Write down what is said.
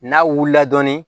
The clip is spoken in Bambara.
N'a wulila dɔɔnin